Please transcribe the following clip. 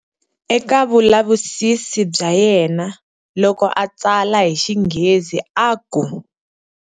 Eka vulavisisi bya yena loko a tsala hi xinghezi a ku.